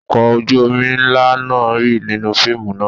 Ọkọ̀ ojú-omi ńlá náà rì nínú fíìmù náà.